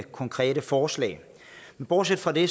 konkrete forslag bortset fra det